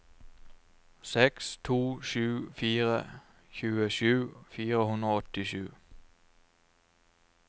seks to sju fire tjuesju fire hundre og åttisju